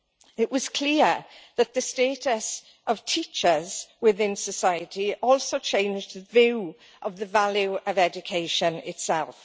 It was clear that the status of teachers within society also changed the view of the value of education itself.